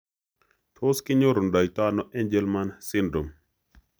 Tos kinyorundoiano angelman syndrome?